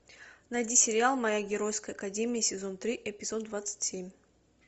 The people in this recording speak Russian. найди сериал моя геройская академия сезон три эпизод двадцать семь